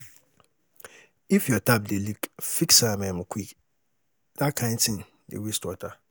If your tap dey leak, fix am um quick, dat kain tin dey waste water.